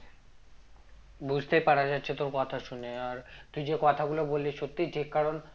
বুঝতে পারা যাচ্ছে তোর কথা শুনে আর তুই যে কথাগুলো বললি সত্যি ঠিক কারণ